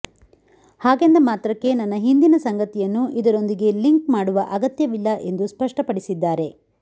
ಹಾಗೆಂದ ಮಾತ್ರಕ್ಕೆ ನನ್ನ ಹಿಂದಿನ ಸಂಗತಿಯನ್ನು ಇದರೊಂದಿಗೆ ಲಿಂಕ್ ಮಾಡುವ ಅಗತ್ಯವಿಲ್ಲ ಎಂದು ಸ್ಪಷ್ಟಪಡಿಸಿದ್ದಾರೆ